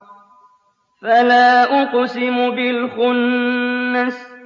فَلَا أُقْسِمُ بِالْخُنَّسِ